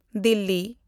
Delhi